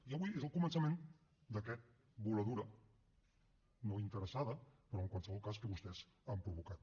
i avui és el començament d’aquesta voladura no interessada però en qualsevol cas que vostès han provocat